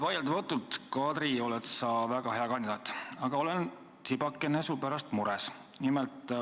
Vaieldamatult, Kadri, oled sa väga hea kandidaat, aga olen tsipakene su pärast mures.